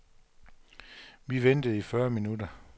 Vi ventede i fyrre minutter.